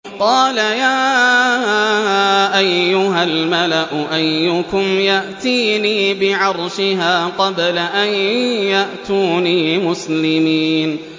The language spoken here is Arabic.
قَالَ يَا أَيُّهَا الْمَلَأُ أَيُّكُمْ يَأْتِينِي بِعَرْشِهَا قَبْلَ أَن يَأْتُونِي مُسْلِمِينَ